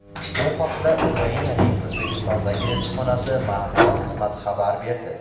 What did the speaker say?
Bu haqda Ukrainaning O‘zbekistondagi elchixonasi matbuot xizmati xabar berdi.